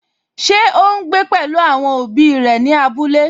Ṣé ó ún gbé pẹ̀lú àwọn òbí òbí rẹ̀ ní abúlé?